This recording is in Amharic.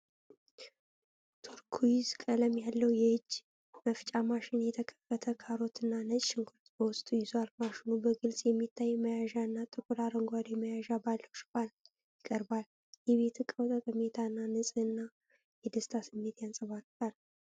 ቱርኩይዝ ቀለም ያለው የእጅ መፍጫ ማሽን የተከተፈ ካሮትና ነጭ ሽንኩርት በውስጡ ይዟል። ማሽኑ በግልጽ በሚታይ መያዣና ጥቁር አረንጓዴ መያዣ ባለው ሽፋን ይቀርባል። የቤት እቃው ጠቀሜታና ንጽህና የደስታ ስሜት ያንጸባርቃል።